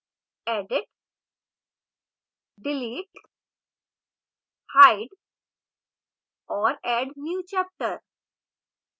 edit delete hide और add new chapter